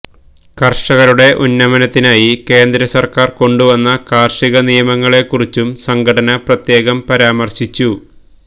കർഷകരുടെ ഉന്നമനത്തിനായി കേന്ദ്രസർക്കാർ കൊണ്ടുവന്ന കാർഷിക നിയമങ്ങളെക്കുറിച്ചും സംഘടന പ്രത്യേകം പരാമർശിച്ചു